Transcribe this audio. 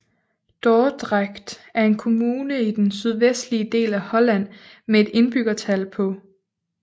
Dordrecht er en kommune i den sydvestlige del af Holland med et indbyggertal på